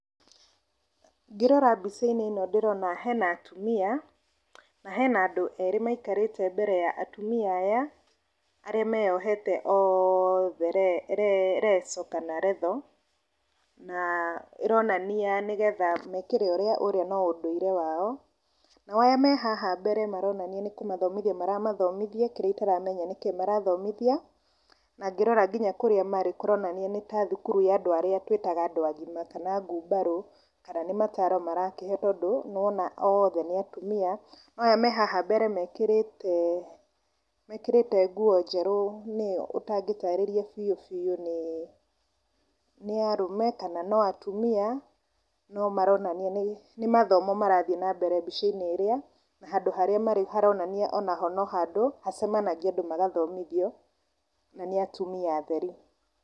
Ngĩrora mbica-inĩ ĩno ndĩrona hena atumia na hena andũ erĩ maikarĩte mbere ya atumia aya arĩa meyohete othe leso kana retho. Na ĩronania nĩgetha mekĩre ũrĩa ũrĩa no ũndũire wao. Nao arĩa me haha mbere maronania nĩ kũmathomithia maramathomithia kĩrĩa itaramenya nĩkĩ marathomithia. Na ngĩrora nginya kũrĩa marĩ kũronania nĩ ta thukuru ya andũ arĩa twĩtaga andũ agima kana ngubarũ. Kana nĩ mataro marakĩheyo tondũ nĩ ũrona othe nĩ atumia. Aya me haha mbere mekĩrĩte, mekĩrĩte nguo njerũ nĩo ũtangĩtaarĩrĩa biũ biũ kana nĩ arũme kana no atumia. No maronania nĩ mathomo marathiĩ na mbere mbica-inĩ ĩrĩa na handũ harĩa marĩ haronania no handũ hacemanagio andũ magathomithio. Na nĩ atumia atheri.